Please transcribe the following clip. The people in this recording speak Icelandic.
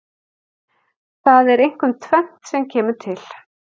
Það er einkum tvennt sem kemur til.